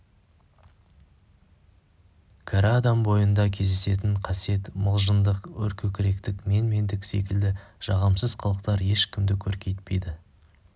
кәрі адам бойында кездесетін қасиет мылжыңдық өркөкіректік менмендік секілді жағымсыз қылықтар ешкімді көркейтпейді